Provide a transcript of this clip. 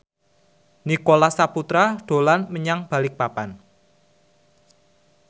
Nicholas Saputra dolan menyang Balikpapan